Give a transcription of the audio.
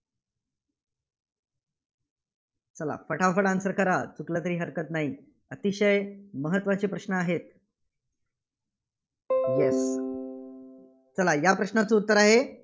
चला पटापट answer करा. चुकलं तरी हरकत नाही. अतिशय महत्त्वाचा प्रश्न आहे. Yes चला या प्रश्नाचं उत्तर आह